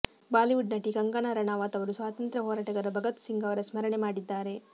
Bollywood ನಟಿ ಕಂಗನಾ ರಣಾವತ್ ಅವರು ಸ್ವಾತಂತ್ರ್ಯ ಹೋರಾಟಗಾರ ಭಗತ್ ಸಿಂಗ್ ಅವರ ಸ್ಮರಣೆ ಮಾಡಿದ್ದಾರೆ